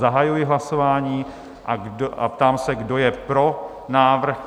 Zahajuji hlasování a ptám se, kdo je pro návrh?